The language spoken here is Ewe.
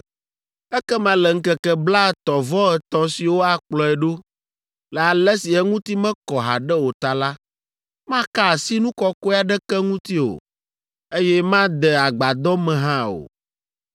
Ekema le ŋkeke blaetɔ̃-vɔ-etɔ̃ siwo akplɔe ɖo, le ale si eŋuti mekɔ haɖe o ta la, maka asi nu kɔkɔe aɖeke ŋuti o, eye made Agbadɔ me hã o.